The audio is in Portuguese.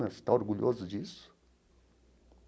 Você está orgulhoso disso?